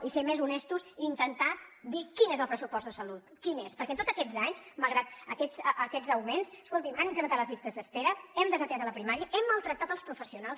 i ser més honestos i intentar dir quin és el pressupost de salut quin és perquè tots aquests anys malgrat aquests augments escoltin han incrementat les llistes d’espera hem desatès la primària hem maltractat els professionals